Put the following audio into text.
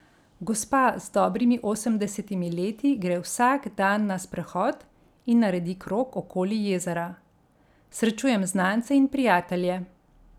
Gospa z dobrimi osemdesetimi leti gre vsak dan na sprehod in naredi krog okoli jezera: 'Srečujem znance in prijatelje.